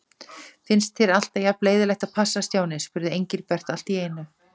Finnst þér alltaf jafn leiðinlegt að passa, Stjáni? spurði Engilbert allt í einu.